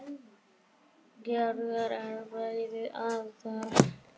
Gerður er beðin ásjár.